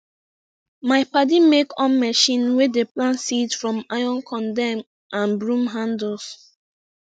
my padi make on machine wey dey plant seed from iron condem and brrom handles